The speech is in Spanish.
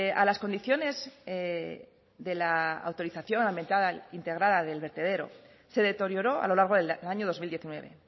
a las condiciones de la autorización ambiental integrada del vertedero se deterioró a lo largo del año dos mil diecinueve